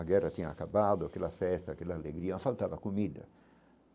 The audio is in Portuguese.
A guerra tinha acabado, aquela festa, aquela alegria, faltava comida.